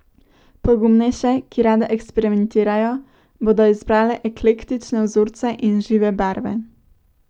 Pogumnejše, ki rade eksperimentirajo, bodo izbrale eklektične vzorce in žive barve.